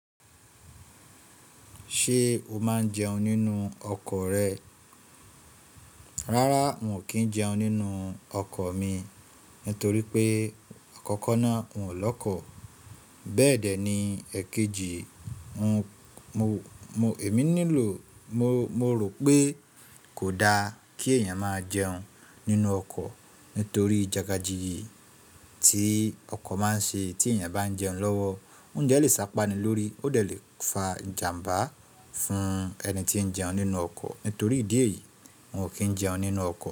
Ṣé o máa ń jẹun nínú ọkọ̀ rẹ? Rárá, n ò kí ń jẹun nínú ọkọ̀ mi nítorí pé àkọ́kọ́ náà n ò lọ́kọ̀. Bẹ́ẹ̀dẹ́ ni èkejì, Emi nilo mo rò pé kò da kí èèyàn máa jẹun nínú ọkọ̀ nítorí ìjagajíyi tí ọkọ̀ máa ń ṣe tí èèyàn bá ń jẹun lọ́wọ́, oúnjẹ lè sá páni lórí, ó lè fa ìjàmbá fún ẹni tí ń jẹun nínú ọkọ̀. Nítorí ìdí èyí, n ò kí ń jẹun nínú ọkọ̀